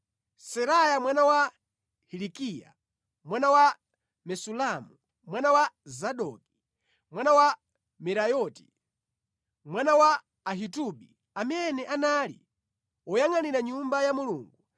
Seraya mwana wa Hilikiya mwana wa Mesulamu, mwana wa Zadoki, mwana wa Merayoti, mwana wa Ahitubi amene anali woyangʼanira Nyumba ya Mulungu,